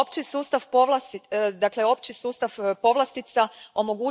sustav povlastica OSP.